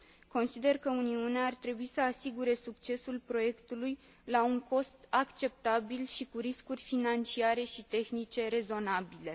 Consider că Uniunea ar trebui să asigure succesul proiectului la un cost acceptabil și cu riscuri financiare și tehnice rezonabile.